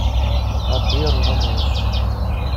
отверженные